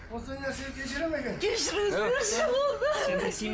осындай нәрсені кешіреді ме екен кешіріңіздерші болды